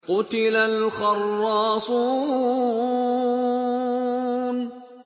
قُتِلَ الْخَرَّاصُونَ